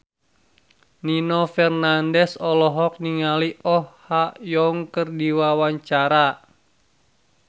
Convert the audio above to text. Nino Fernandez olohok ningali Oh Ha Young keur diwawancara